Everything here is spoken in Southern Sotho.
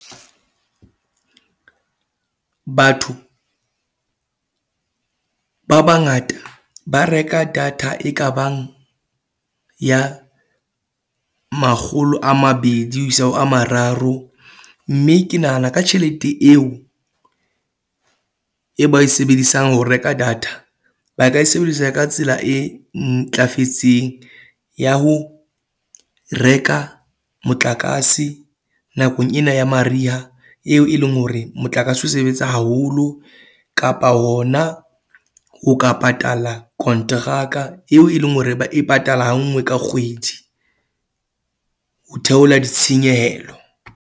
Batho ba bangata ba reka data e kabang ya makgolo a mabedi ho isa ho a mararo. Mme ke nahana ka tjhelete eo e ba e sebedisang ho reka data. Ba ka e sebedisa ka tsela e ntlafetseng ya ho reka motlakase nakong ena ya mariha eo e leng eng hore motlakase o sebetsa haholo, kapa hona o ka patala kontraka eo e leng hore ba e patala ha nngwe ka kgwedi ho theola ditshenyehelo.